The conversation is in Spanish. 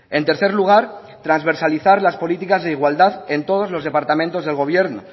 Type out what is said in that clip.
en tercer lugar transversalizar las políticas de igualdad en todos los departamentos del gobierno